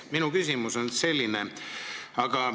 Minu küsimus on selline.